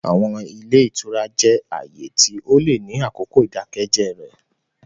Àwọn ile itura jẹ aaye ti o le ni akoko idakẹjẹ rẹ.